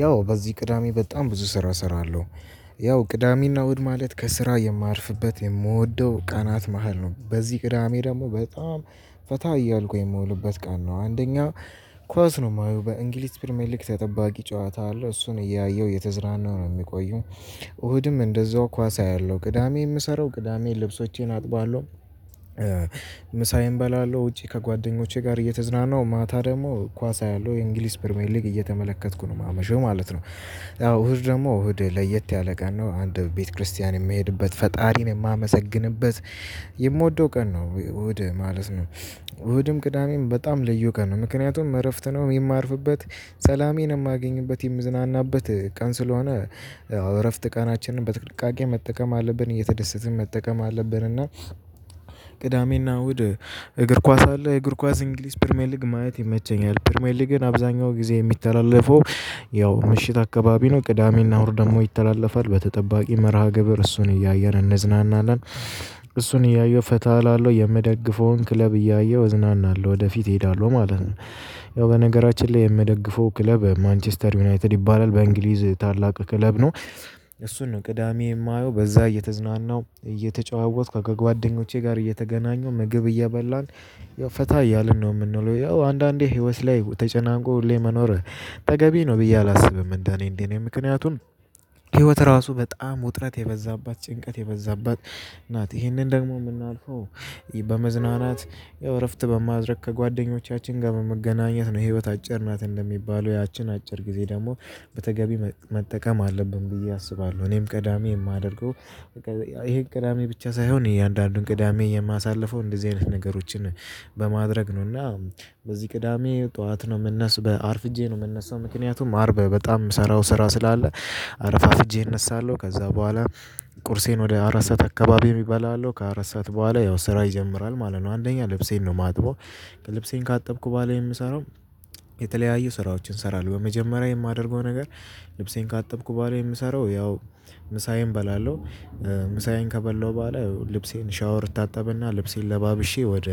ያው በዚህ ቅዳሜ በጣም ብዙ ስራ እሰራለሁ። ያው ቅዳሜና እና እሁድ ማለት ከስራ የማርፍበት የምወደው ቀናት መሃል ነው። በዚህ ቅዳሜ ደግሞ በጣም ፈታ እያልኩ የምውልበት ቀን ነው። አንደኛ ኳስ ነው የማየው በእንግሊዝ ፕሪሚየር ሊግ ተጠባቂ ጨዋታ አለው እሱን እያየሁ እየተዝራና ነው የሚቆየው። እሁድም እንደዛው ኳስ አያለሁ ቅዳሜ የምሰራው ቅዳሜ ልብሶቼን አጥባለሁ። ምሳዬን እበላለሁ ውጪ ከጓደኞቼ ጋር እየተዝናናሁ ማታ ደግሞ ኳስ አያለሁ የእንግሊዝ ፕሪሚየር ሊግ እየተመለከትኩ ነው የማመሸው ማለት ነው። ያው እሁድ ደግሞ እሁድ ለየት ያለ ቀን ነው አንድ ቤት ክርስቲያን የምሄድበት ፈጣሪን የማመሰግንበት። የምወደው ቀን ነው እሁድ ማለት ነው። እሁድም ቅዳሜም በጣም ልዩ ቀን ነው። ምክንያቱም እረፍት ነው የማርፍበት ሰላሜን የማገኝበት የምዝናናበት ቀን ስለሆነ። እረፍት ቀናችንን በጥቅቃቄ መጠቀም አለብን እየተደሰትን መጠቀም አለብን። እና ቅዳሜና እሁድ እግር ኳስ አለ እግር ኳስ እንግሊዝ ፕሪሚየር ሊግ ማየት ይመቸኛል። ፕሪሚየር ሊግን አብዛኛው ጊዜ የሚተላለፈው። ያው ምሽት አካባቢ ነው ቅዳሜና እሁድ ደግሞ ይተላለፋል በተጠባቂ መርሃ ግብር እሱን እያየን እንዝናናን። እሱን እያየው ፈታ አላለው የምደግፈውን ክለብ እያየሁ እዝናናለሁ ወደፊት እሄዳለሁ ማለት ነው። ያው በነገራችን ላይ የምደግፈው ክለብ ማንችስተር ዩናይትድ ይባላል በእንግሊዝ ታላቅ ክለብ ነው። እሱን ነው ቅዳሜ የማየው በዛ እየተዝናናው እየተጨዋወትኩ ከጓደኞቼ ጋር እየተገናኙ ምግብ እየበላን። ያው ፈታ እያልን ነው የምንለው ያው አንዳንዴ ህይወት ላይ ተጨናንቆ ሁሌ መኖር ተገቢ ነው ብዬ አላስብም። እንደኔ እንዴ? ነው ምክንያቱን ህይወት ራሱ በጣም ውጥረት የበዛባት ጭንቀት የበዛባት ናት ይህንን ደግሞ የምናልፈው። በመዝናናት ያው እረፍት በማድረግ ከጓደኞቻችን ጋር በመገናኘት ነው። ህይወት አጭር ናት እንደሚባለው ያችን አጭር ጊዜ ደግሞ በተገቢ መጠቀም አለብን። ብዬ አስባለሁ እኔም ቅዳሜ የማደርገው። ይሄን ቅዳሜ ብቻ ሳይሆን እያንዳንዱን ቅዳሜ የማሳልፈው እንደዚህ አይነት ነገሮችን በማድረግ ነውና። በዚህ ቅዳሜ ጠዋት ነው የምነሳው አርፍጄ ነው የምነሳው ምክንያቱም አርብ በጣም የምሰራው ስራ ስላለ። አረፋፍጄ እነሳለሁ ከዛ በኋላ። ቁርሴን ወደ አራት ሰዓት አካባቢ እባላለሁ ከአራት ሰዓት በኋላ ያው ስራ ይጀምራል ማለት ነው አንደኛ ልብሴን ነው የማጥበው። ልብሴን ካጠብኩ በኋላ የምሰራው የተለያዩ ስራዎችን እሰራለንሁ በመጀመሪያ የማደርገው ነገር። ልብሴን ካጠብኩ በኋላ የምሰራው ያው ምሳዬን እበላለሁ። ምሳዬን ከበላሁ በኋላ ልብሴን ሻወር ታጠብና ልብሴን ለባብሼ ወደ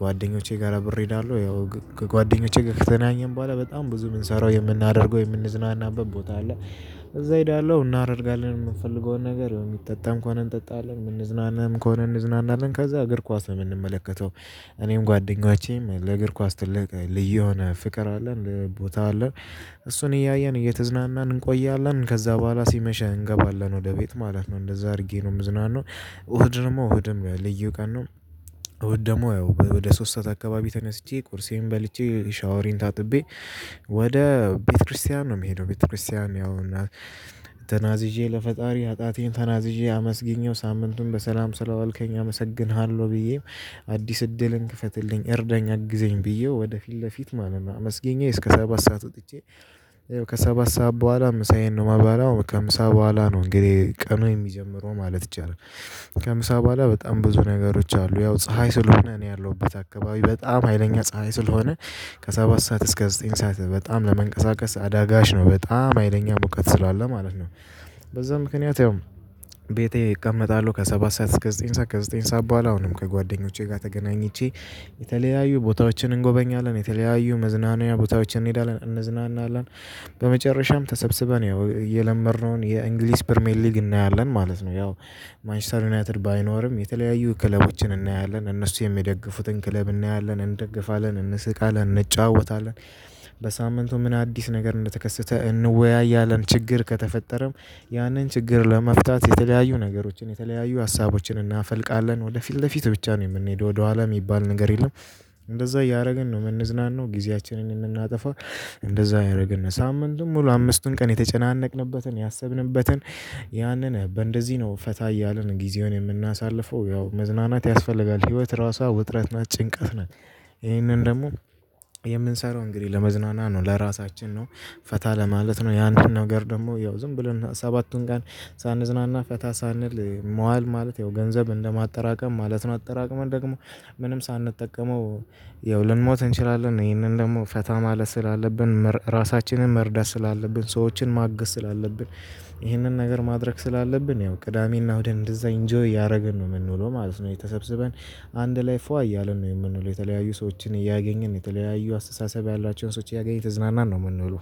ጓደኞቼ ጋር አብሬ እሄዳለሁ። ያው ከጓደኞቼ ከተገናኘን በኋላ በጣም ብዙ የምንሰራው የምናደርገው የምንዝናናበት ቦታ አለ። እዛ እሄዳለሁ እናደርጋለን የምፈልገውን ነገር የሚጠጣም ከሆነ እንጠጣለን የምንዝናናም ከሆነ እንዝናናለን ከዛ እግር ኳስ ነው የምንመለከተው። እኔም ጓደኞቼም ለእግር ኳስ ትልቅ ልዩ የሆነ ፍቅር አለን ቦታ አለን። እሱን እያየን እየተዝናናን እንቆያለን ከዛ በኋላ ሲመሽ እንገባለን ወደ ቤት ማለት ነው እንደዛ አድርጌ ነው የምዝናነው። እሁድ ደግሞ እሁድም ለየቀኑ እሁድ ደግሞ ያው ወደ ሶስት ሰዓት አካባቢ ተነስቼ ቁርሴን በልቼ ሻወሬን ታጥቤ። ወደ ቤተክርስቲያን ነው የምሄደው። ቤተክርስቲያን ያው እና ተናዝዤ ለፈጣሪ ኃጢአቴን ተናዝዤ አመስግኜው ሳምንቱን በሰላም ስለዋልከኝ አመሰግንሃለሁ። ብዬም አዲስ እድልን ክፈትልኝ እርዳኝ አግዘኝ ብዬ ወደፊት ለፊት ማለት ነው። አመስገኜ እስከ ሰባት ሰዓት ወጥቼ። ይኸው ከሰባት ሰዓት በኋላ ምሳዬን ነው የማባለው ከምሳ በኋላ ነው እንግዲህ ቀኑን የሚጀምረው ማለት ይቻላል። ከምሳ በኋላ በጣም ብዙ ነገሮች አሉ ያው ፀሀይ ስለሆነ እኔ ያለሁበት አካባቢ በጣም ሀይለኛ ፀሀይ ስለሆነ። ከሰባት ሰዓት እስከ ዘጠኝ ሰዓት በጣም ለመንቀሳቀስ አዳጋች ነው በጣም ሀይለኛ ሙቀት ስላለ ማለት ነው። በዛ ምክንያት ያው። ቤቴ እቀመጣለሁ ከሰባት ሰዓት እስከ ዘጠኝ ሰዓት ከዘጠኝ ሰዓት በኋላ አሁንም ከጓደኞቼ ጋር ተገናኝቼ። የተለያዩ ቦታዎችን እንጎበኛለን የተለያዩ መዝናኛ ቦታዎችን እንሄዳለን እንዝናናለን። በመጨረሻም ተሰብስበን ያው የለመድነውን የእንግሊዝ ፕሪሚየር ሊግ እናያለን ማለት ነው። ያው ማንችስተር ዩናይትድ ባይኖርም የተለያዩ ክለቦችን እናያለን እነሱ የሚደግፉትን ክለብ እናያለን እንደግፋለን እንስቃለን እንጫወታለን። በሳምንቱ ምን አዲስ ነገር እንደተከሰተ እንወያያለን። ችግር ከተፈጠረም ያንን ችግር ለመፍታት የተለያዩ ነገሮችን የተለያዩ ሀሳቦችን እናፈልቃለን ወደፊት ለፊት ብቻ ነው የምንሄደው ወደኋላ የሚባል ነገር የለም። እንደዛ እያደረግን ነው የምንዝናናው ጊዜያችንን እምናጠፋው። እንደዛ እያደረግን ነው ሳምንት ሙሉ አምስቱን ቀን የተጨናነቅንበትን ያሰብንበትን ያንን በእንደዚህ ነው ፈታ እያልን ጊዜውን የምናሳልፈው። ያው መዝናናት ያስፈልጋል ህይወት ራሷ ውጥረት ናት ጭንቀት ናት። ይሄንን ደግሞ የምንሰራው እንግዲህ ለመዝናና ነው። ለራሳችን ነው ፈታ ለማለት ነው። ያንን ነገር ደግሞ ያው ዝም ብለን ሰባቱን ጋር ሳንዝናና ፈታ ሳንል። መዋል ማለት ያው ገንዘብ እንደማጠራቀም ማለት ነው። አጠራቀመን ደግሞ ምንም ሳንጠቀመው። ያው ልንሞት እንችላለን። ይህንን ደግሞ ፈታ ማለት ስላለብን ራሳችንን መርዳት ስላለብን ሰዎችን ማገዝ ስላለብን። ይህንን ነገር ማድረግ ስላለብን ያው ቅዳሜና እሁድን እንደዛ ኢንጆይ እያደረገን ነው የምንውለው ማለት ነው። ተሰበሰበን አንድ ላይ ፏ እያለን ነው የምንውለው። የተለያዩ ሰዎችን እያገኘን የተለያየ አስተሳሰብ ያሏቸውን ሰዎች እያገኘ እየተዝናናን ነው የምንለው